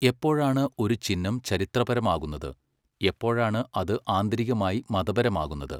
എപ്പോഴാണ് ഒരു ചിഹ്നം ചരിത്രപരമാകുന്നത്, എപ്പോഴാണ് അത് ആന്തരികമായി മതപരമാകുന്നത്?